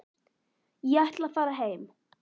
Ég ætla að fara heim.